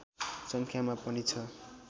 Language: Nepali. सङ्ख्यामा पनि छ